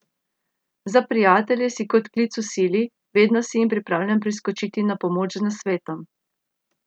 Za prijatelje si kot klic v sili, vedno si jim pripravljen priskočiti na pomoč z nasvetom.